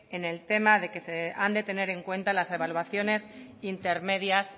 en el tema de que se han de tener en cuenta las evaluaciones intermedias